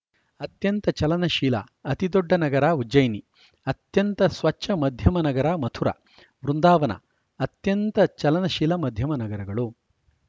ಅತ್ಯಂತ ಚಲನಶೀಲ ಅತಿದೊಡ್ಡ ನಗರ ಉಜ್ಜಯಿನಿ ಅತ್ಯಂತ ಸ್ವಚ್ಛ ಮಧ್ಯಮ ನಗರ ಮಥುರಾ ವೃಂದಾವನ ಅತ್ಯಂತ ಚಲನಶೀಲ ಮಧ್ಯಮ ನಗರಗಳು